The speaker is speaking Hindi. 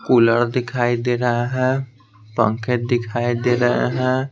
कूलर दिखाई दे रहा है पंखे दिखाई दे रहे हैं।